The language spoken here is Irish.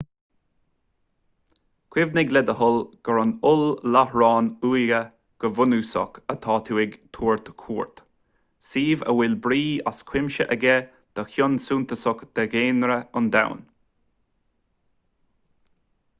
cuimhnigh le do thoil gur ar oll-láithreán uaighe go bunúsach atá tú ag tabhairt cuairt suíomh a bhfuil brí as cuimse aige do chion suntasach de dhaonra an domhain